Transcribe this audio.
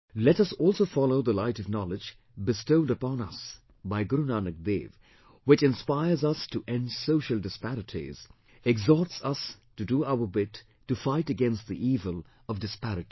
Let us also follow the light of knowledge bestowed upon us by Guru Nanak Dev which inspires us to end social disparities, exhorts us to do our bit to fight against the evil of disparity